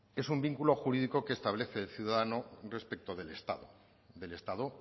es un vínculo jurídico que establece el ciudadano respecto del estado del estado